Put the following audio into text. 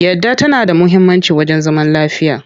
Yadda tana da muhimmanci wajen zaman lafiya.